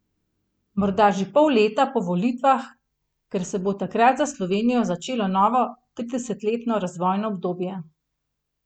Morda že pol leta po volitvah, ker se bo takrat za Slovenijo začelo novo tridesetletno razvojno obdobje.